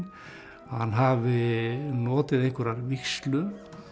að hann hafi notið einhverrar vígslu